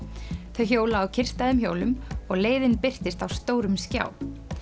þau hjóla á kyrrstæðum hjólum og leiðin birtist á stórum skjá